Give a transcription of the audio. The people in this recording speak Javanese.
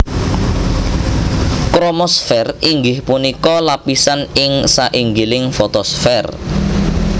Kromosfèr inggih punika lapisan ing sainggilipun fotosfèr